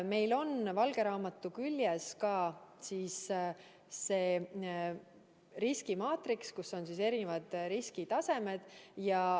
Meil on valge raamatu küljes ka riskimaatriks, kus on erinevad riskitasemed.